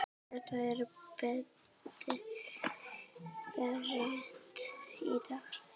Þetta er breytt í dag.